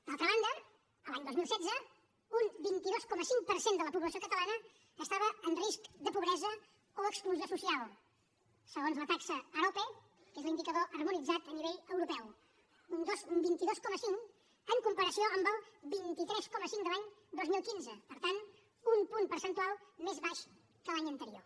d’altra banda l’any dos mil setze un vint dos coma cinc per cent de la població catalana estava en risc de pobresa o exclusió social segons la taxa arope que és l’indicador harmonitzat a nivell europeu un vint dos coma cinc en comparació amb el vint tres coma cinc de l’any dos mil quinze per tant un punt percentual més baix que l’any anterior